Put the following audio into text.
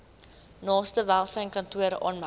naaste welsynskantoor aanmeld